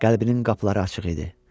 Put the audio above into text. Qəlbinin qapıları açıq idi.